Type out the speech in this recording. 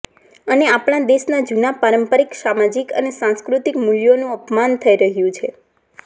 અને આપણા દેશના જૂના પારંપારિક સામાજિક અને સાંસ્કૃતિક મૂલ્યોનું અપમાન થઈ રહ્યું છે